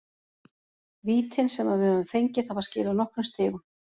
Vítin sem að við höfum fengið hafa skilað nokkrum stigum.